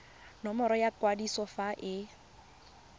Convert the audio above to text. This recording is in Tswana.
nomoro ya kwadiso fa e